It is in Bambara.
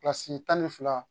Kilasi tan ni fila